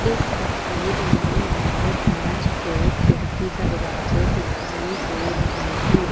इस तस्वीर में मुझे कांच के खिड़की दरवाजे दिखाई दे रहे हैं।